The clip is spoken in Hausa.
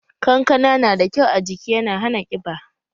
Kankana na da kyau ajiki yana hana ƙiba